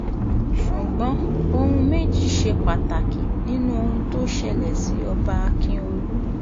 ṣùgbọ́n ohun méjì ṣe pàtàkì nínú ohun tó ṣẹlẹ̀ sí ọba ákíọ̀lù